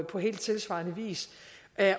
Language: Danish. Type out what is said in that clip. på helt tilsvarende vis